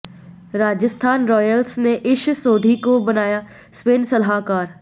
Rajasthan Royals ने ईश सोढ़ी को बनाया स्पिन सलाहकार